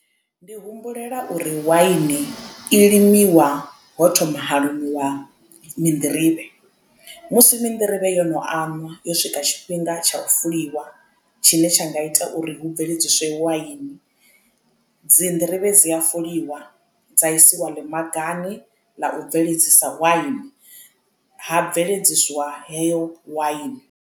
Ndi humbulela uri waini i limiwa ho thoma ha limiwa mi nḓirivhe musi mi nḓirivhe yo no anwa yo swika tshifhinga tsha u fuliwa tshine tsha nga i ita uri hu bveledziswe waini dzi nḓirivhe dzi a fuliwa dza isiwa ḽi magani ḽa u bveledzisa waini ha bveledziswa heyo waini.